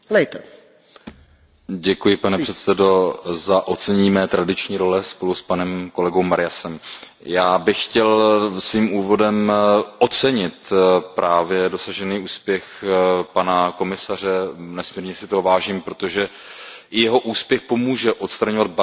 Pane předsedající, děkuji za ocenění mé tradiční role spolu s panem kolegou Mariasem. Já bych chtěl svým úvodem ocenit právě dosažený úspěch pana komisaře. Nesmírně si toho vážím, protože i jeho úspěch pomůže odstraňovat bariéry právě ve vzdělávání